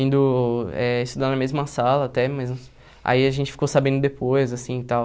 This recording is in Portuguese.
Indo eh estudar na mesma sala, até, mas... Aí a gente ficou sabendo depois, assim, tal.